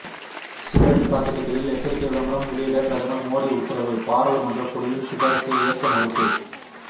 cigarette பாக்கெட்டுகளில் எச்சரிக்கை விளம்பரம் வெளியிட பிரதமர் மோடி உத்தரவு பாராளுமன்ற குழுவின் சிபாரிசை ஏற்க மறுப்பு